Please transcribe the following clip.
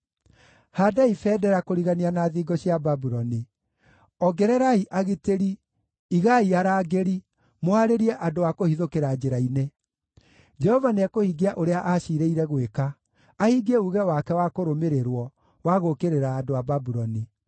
Haandai bendera kũrigania na thingo cia Babuloni! Ongererai agitĩri, igai arangĩri, mũhaarĩrie andũ a kũhithũkĩra njĩra-inĩ! Jehova nĩekũhingia ũrĩa aciirĩire gwĩka, ahingie uuge wake wa kũrũmĩrĩrwo, wa gũũkĩrĩra andũ a Babuloni.